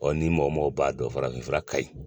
Ɔ ni mɔgɔ mɔgɔ b'a dɔn farafinfura ka ɲi